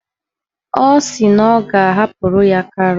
Ọ sị na ọ ga-ahapụrụ ya karọt.